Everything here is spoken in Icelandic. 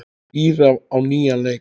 Íra á nýjan leik.